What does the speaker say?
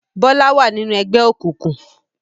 Bọlá wá ninu ẹgbẹ́ òkùnkùn